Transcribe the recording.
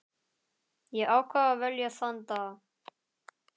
Ég ákvað að velja þann dag.